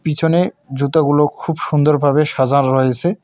পিছনে জুতাগুলো খুব সুন্দর ভাবে সাজার রয়েসে।